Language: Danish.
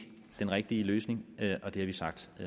den rigtige løsning og det har vi sagt